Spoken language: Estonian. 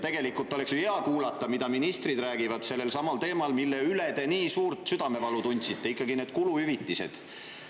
Tegelikult oleks ju hea kuulata, mida ministrid räägivad sellelsamal teemal, mille pärast te nii suurt südamevalu tundsite – ikka need kuluhüvitised.